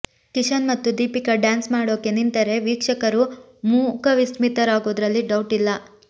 ಕಿಶನ್ ಮತ್ತು ದೀಪಿಕಾ ಡ್ಯಾನ್ಸ್ ಮಾಡೋಕೆ ನಿಂತರೆ ವೀಕ್ಷಕರು ಮೂಕವಿಸ್ಮಿತರಾಗೋದ್ರಲ್ಲಿ ಡೌಟ್ ಇಲ್ಲ